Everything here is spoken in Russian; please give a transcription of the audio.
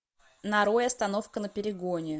нарой остановка на перегоне